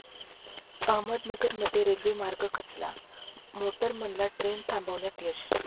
अहमदनगरमध्ये रेल्वे मार्ग खचला, मोटरमनला ट्रेन थांबवण्यात यश